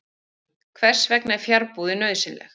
Hvers vegna er fjarbúðin nauðsynleg?